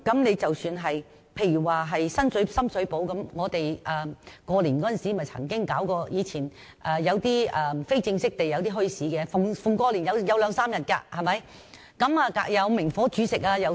又以深水埗為例，新年時曾有一些非正式的墟市，每逢過年也會舉辦兩三天的，還有明火煮食的攤檔。